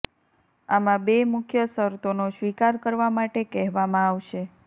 આમાં બે મુખ્ય શરતોનો સ્વીકાર કરવા માટે કહેવામાં આવશે